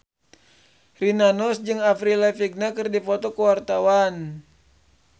Rina Nose jeung Avril Lavigne keur dipoto ku wartawan